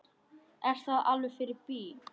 Er það alveg fyrir bí?